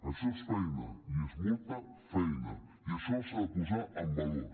això és feina i és molta feina i això s’ha de posar en valor